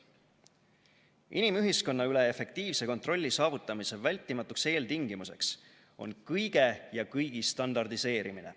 Inimühiskonna üle efektiivse kontrolli saavutamise vältimatuks eeltingimuseks on kõige ja kõigi standardiseerimine.